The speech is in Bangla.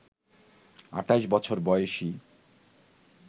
২৮ বছর বয়সী